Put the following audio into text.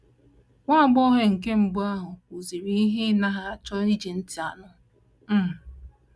Nwa agbọghọ nke mbụ ahụ kwuziri ihe ị na - anaghị achọ iji ntị anụ. um